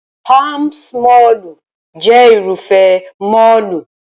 Palms mọ́ọ̀lù jẹ́ Irúfẹ́ mọ́ọ̀lù